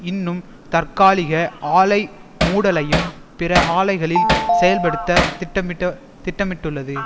இன்னும் தற்காலிக ஆலை மூடலையும் பிற ஆலைகளில் செயல்படுத்த திட்டமிட்ட திட்டமிட்டுள்ளது